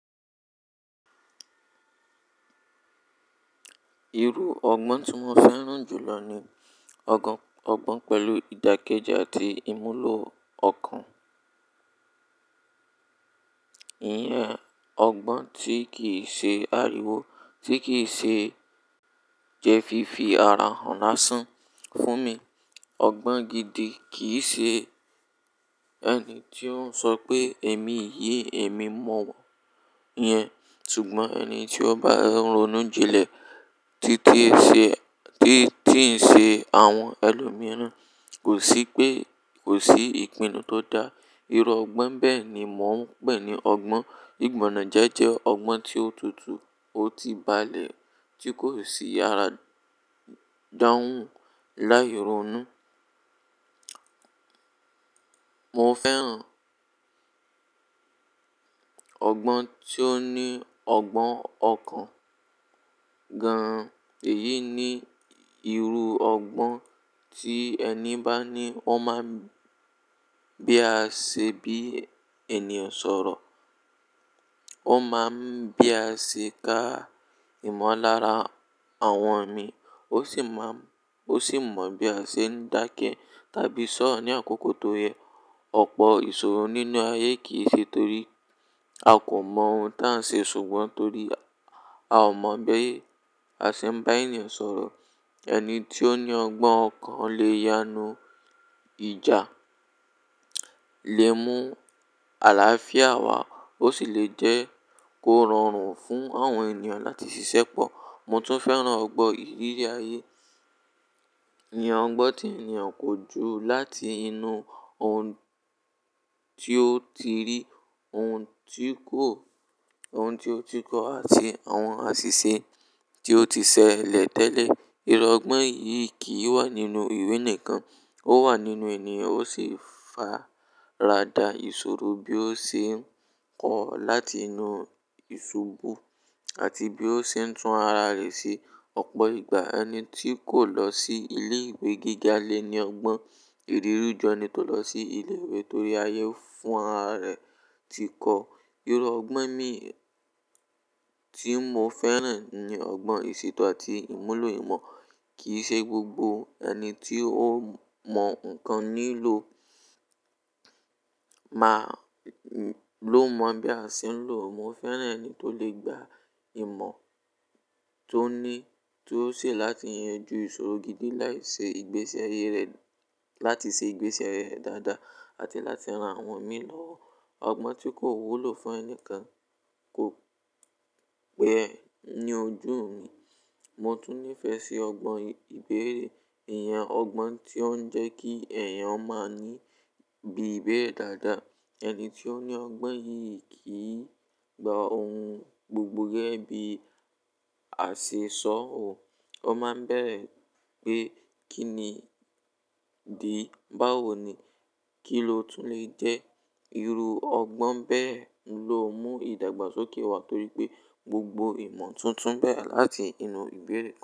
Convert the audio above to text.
Irú ọgbọ́n tí mo fẹ́ràn jù lọ ní ọgbọ́n, ọgbọ́n pẹ̀lú ìdàkejì àti ìmúlò ọ̀kan. Iyẹn ọgbọ́n tí kì í ṣe àríwó, tí kì í ṣe jẹ fi fi ara hàn lásán fún mi. Ọgbọ́n gidi kì í ṣe ẹni tí ó ń sọ pé èmi yii, èmi mọ̀ wọ́n iyẹn. Ṣùgbọ́n ẹni tí ó bá ronú jinlẹ̀ tí kí ṣe, tí tí ń ṣe àwọn ẹlòmíràn. Kò sí pé, kò sí ìpinnu tó dá. Irú ọgbọ́n bẹ́ẹ̀ ni mò ń pè ní ọgbọ́n. Ìgbọ̀najẹ́ jẹ́ ọgbọ́n tí ó tutù, ó ti balẹ̀, tí kò sí yàrá dáhùn láì ronú. Mo fẹ́ràn ọgbọ́n tí ó ní ọgbọ́n ọ̀kan gan-an. Èyí ni irú ọgbọ́n tí ẹni bá ní, ó máa ń bí a ṣe bí ènìyàn sọ̀rọ̀. Ó máa ń bí a ṣe ka ìmọ̀lára àwọn mi. Ó sì má ń, ó sì mọ bí a ṣe ń dáke tàbí sọ̀rọ̀ ní àkókò tó yẹ. Ọ̀pọ̀ ìṣòro nínú ayé kì í ṣe torí a kò mọ ohun tí à ń ṣe ṣùgbọ́n torí a ò mọ bí a ṣe ń bá ènìyàn sọ̀rọ̀. Ẹni tí ó ní ọgbọ́n ọ̀kan lè yanú ìjà, lè mú àlàáfíà wá. Ó sì lè jẹ́ kó rọrùn fún àwọn ènìyàn láti ṣiṣẹ́ pọ̀. Mo tún fẹ́ràn ọgbọ́n ìrírí ayé. Iyẹn ọgbọ́n tí ènìyàn kó ju láti inú ohun tí ó ti rí, ohun tí kò, ohún tí ó ti kọ àti àwọn àṣìṣe tí ó ti ṣẹlẹ̀ tẹ́lẹ̀. Irú ọgbọ́n yìí kì í wà nínú ìwé nìkan, ó wà nínú ènìyàn. Ó sì fara da ìṣòro bí ó ṣe ń kọ láti inú ìṣubú àti bí ó ṣe ń tún ara rẹ̀ ṣe. Ọ̀pọ̀ ìgbà ẹni tí kò lọ sí ilé ìwé gíga lé ní ọgbọ́n ìrírí ju ẹni tó lọ sí ilé ìwé torí ayé fún ara rẹ̀ ti kọ. Irú ọgbọ́n mii tí mo fẹ́ràn ni ọgbọ́n ìṣètò àti ìmúlò ìmọ̀. Kì í ṣe gbogbo ẹni tí ó mọ ǹkan nílò máa lò mọ bí a ṣe ń lò ọ́. Mo fẹ́ràn ẹni tó lè gba ìmọ̀ tó ní, tó ṣẹ̀ láti yanjú ìṣòro gidi láì ṣe ìgbésẹ̀ eyi rẹ̀, láti ṣe ìgbésẹ̀ rẹ̀ dáadáa àti láti ran àwọn mi lọ́wọ́. Ọgbọ́n tí kò wúlò fún ẹni kan kò pẹ́ ní ojú mi. Mo tún nífẹ̀ẹ́ sí ọgbọ́n ìbéèrè. Iyẹn ọgbọ́n tí ó ń jẹ́ kí eẹ̀yàn máa ní bí ibéèrè dáadáa. Ẹni tí ó ní ọgbọ́n yìí kì í gba ohun gbogbo gẹ́gẹ́ bí àṣẹ sọ ó. Ó máa ń bẹ̀rẹ̀ pé kí ni dí? Báwo ni? Kí ló tún lè jẹ́? Irú ọgbọ́n bẹ́ẹ̀ ló mú ìdàgbàsókè wá torí pé gbogbo ìmọ̀ tuntun bẹ̀rẹ̀ láti inú ìbéèrè.